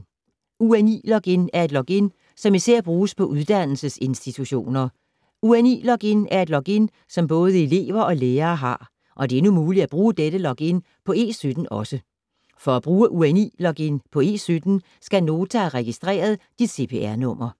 UNI-login er et login, som især bruges på uddannelsesinstitutioner. UNI-login er et login, som både elever og lærere har, og det er nu muligt at bruge dette login på E17 også. For at bruge UNI-login på E17 skal Nota have registreret dit CPR-nummer.